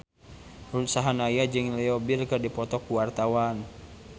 Ruth Sahanaya jeung Leo Bill keur dipoto ku wartawan